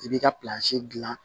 I b'i ka dilan